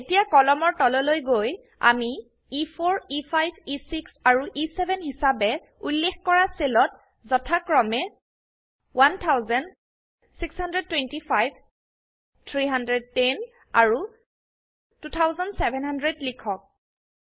এতিয়া কলমৰ তললৈ গৈ আমি এ4 E5 এ6 আৰু এ7 হিসাবে উল্লেখ কৰা সেলেত যথাক্ৰমে 1000 625 310 আৰু 2700 লিখক